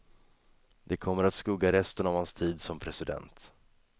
Det kommer att skugga resten av hans tid som president.